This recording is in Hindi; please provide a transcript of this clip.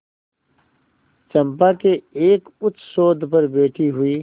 चंपा के एक उच्चसौध पर बैठी हुई